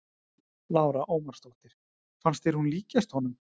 Lára Ómarsdóttir: Fannst þér hún líkjast honum?